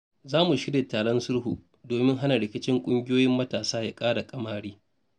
Za mu shirya taron sulhu domin hana rikicin ƙungiyoyin matasa ya ƙara ƙamari.